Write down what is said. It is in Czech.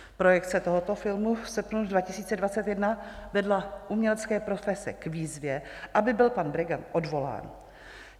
Projekce tohoto filmu v srpnu 2021 vedla umělecké profese k výzvě, aby byl pan Bregant odvolán.